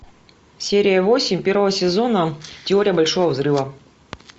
серия восемь первого сезона теория большого взрыва